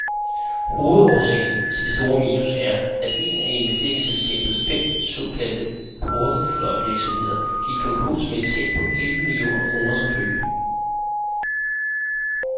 Hovedårsagen til det store minus er, at en af investeringsselskabets fem såkaldte porteføljevirksomheder gik konkurs med et tab på elleve millioner kroner som følge.